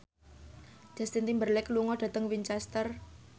Justin Timberlake lunga dhateng Winchester